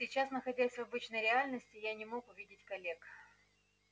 сейчас находясь в обычной реальности я не мог увидеть коллег